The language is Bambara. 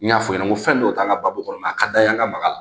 N y'a f'i ɲɛna n ko fɛn dɔw t'an ka baabu kɔnɔ a ka d'a ye an ka makala